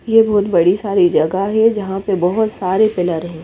ये बोहोत बड़ी सारी जगा है ये जहा पे बोहोत सारे पिलर है।